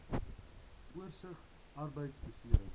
oorsig arbeidbeserings